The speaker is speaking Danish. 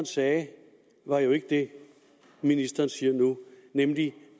sagde var jo ikke det ministeren siger nu nemlig